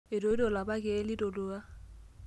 Etoito lapa keek likitolua.